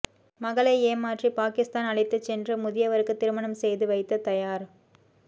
மகளை ஏமாற்றி பாகிஸ்தான் அழைத்துச் சென்று முதியவருக்கு திருமணம் செய்து வைத்த தயார்